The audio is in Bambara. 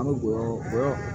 An bɛ gɔyɔ gɔ